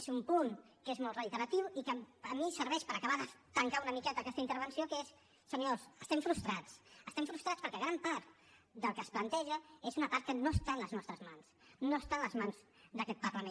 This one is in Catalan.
és un punt que és molt reiteratiu i que a mi em serveix per acabar de tancar una miqueta aquesta intervenció que és senyors estem frustrats estem frustrats perquè gran part del que es planteja és una part que no està en les nostres mans no està en les mans d’aquest parlament